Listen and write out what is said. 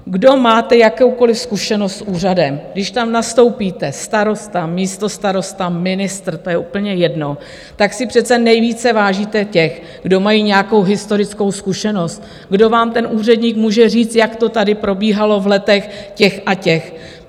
Kdo máte jakoukoliv zkušenost s úřadem, když tam nastoupíte, starosta, místostarosta, ministr, to je úplně jedno, tak si přece nejvíce vážíte těch, kdo mají nějakou historickou zkušenost, kdo vám, ten úředník, může říct, jak to tady probíhalo v letech těch a těch.